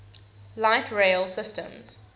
light rail systems